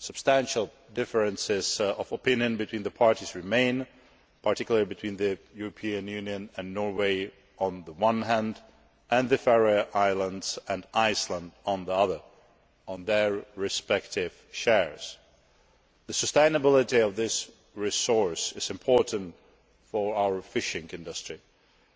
Substantial differences of opinion between the parties remain particularly between the European Union and Norway, on the one hand, and the Faroe Islands and Iceland, on the other with regard to their respective shares. The sustainability of this resource is important for our fishing industry,